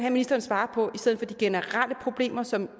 at ministeren svarer på i stedet at de generelle problemer som